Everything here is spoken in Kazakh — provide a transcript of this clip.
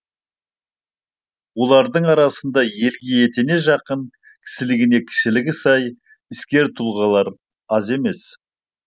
олардың арасында елге етене жақын кісілігіне кішілігі сай іскер тұлғалар аз емес